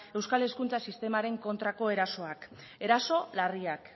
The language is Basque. euskal hezkuntza sistemaren kontrako erasoak eraso larriak